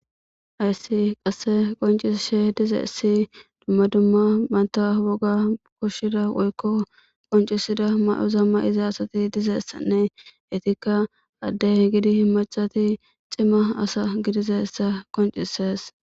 Hayssi qasse qonccishe dizayssi dumma dumma imata woga koshida woykko qonccisida ma'oza ma'ida asayti dizaytanne eetikka adde gidin maccati cimma asa gidizayssa qonccisees.